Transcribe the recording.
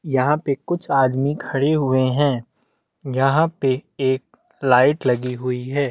यहाँ पे कुछ आदमी खड़े हुए है यहाँ पे एक लाइट लगी हुई है।